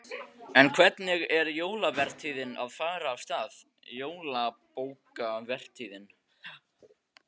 En hvernig er jólavertíðin að fara af stað, jólabókavertíðin?